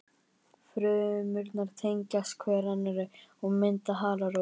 Frumurnar tengjast hver annari og mynda halarófu.